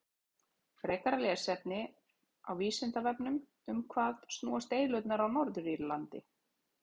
Frekara lesefni á Vísindavefnum: Um hvað snúast deilurnar á Norður-Írlandi?